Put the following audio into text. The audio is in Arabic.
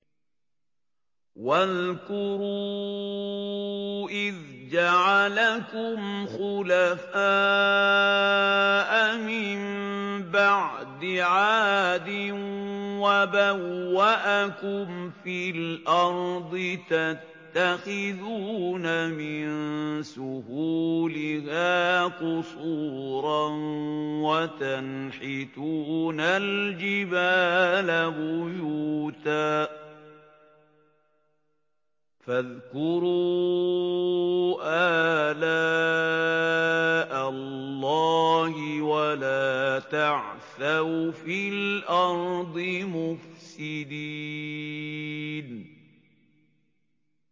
وَاذْكُرُوا إِذْ جَعَلَكُمْ خُلَفَاءَ مِن بَعْدِ عَادٍ وَبَوَّأَكُمْ فِي الْأَرْضِ تَتَّخِذُونَ مِن سُهُولِهَا قُصُورًا وَتَنْحِتُونَ الْجِبَالَ بُيُوتًا ۖ فَاذْكُرُوا آلَاءَ اللَّهِ وَلَا تَعْثَوْا فِي الْأَرْضِ مُفْسِدِينَ